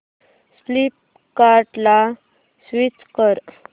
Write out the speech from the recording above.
फ्लिपकार्टं ला स्विच कर